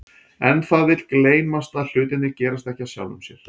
En það vill gleymast að hlutirnir gerast ekki af sjálfu sér.